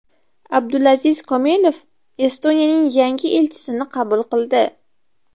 Abdulaziz Komilov Estoniyaning yangi elchisini qabul qildi.